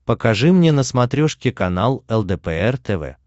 покажи мне на смотрешке канал лдпр тв